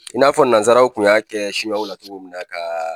I n'a fɔ nanzaraw kun y'a kɛ sinuwaw la cogo min na ka